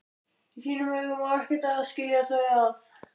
Í þínum augum á ekkert að skilja þau að.